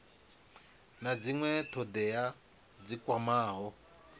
na dzinwe thodea dzi kwamaho